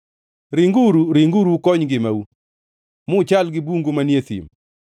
Ringuru! Ringuru ukony ngimau; muchal gi bungu manie thim!